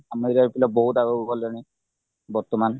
ଆମ area ର ପିଲା ବହୁତ ଆଗକୁ ଗଲେଣି ବର୍ତ୍ତମାନ